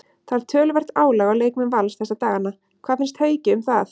Það er töluvert álag á leikmenn Vals þessa dagana, hvað finnst Hauki um það?